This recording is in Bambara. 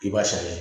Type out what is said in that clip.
I b'a sɛnɛ